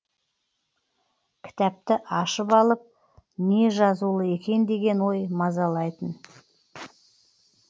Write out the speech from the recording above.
кітапты ашып алып не жазулы екен деген ой мазалайтын